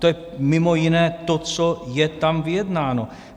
To je mimo jiné to, co je tam vyjednáno.